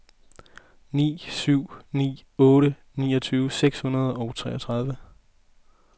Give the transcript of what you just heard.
ni syv ni otte niogtyve seks hundrede og treogtredive